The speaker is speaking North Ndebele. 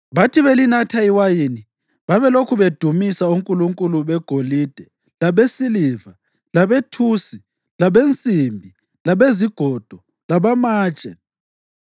Bathi belinatha iwayini babelokhu bedumisa onkulunkulu begolide labesiliva, labethusi, labensimbi, labezigodo labamatshe.